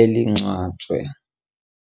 elingcwatshwe.